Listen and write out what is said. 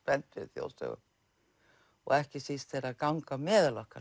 þjóðsögum ekki síst þegar þær ganga á meðal okkar